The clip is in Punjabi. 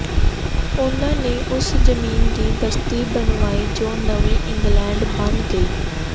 ਉਨ੍ਹਾਂ ਨੇ ਉਸ ਜ਼ਮੀਨ ਦੀ ਬਸਤੀ ਬਣਵਾਈ ਜੋ ਨਵੀਂ ਇੰਗਲੈਂਡ ਬਣ ਗਈ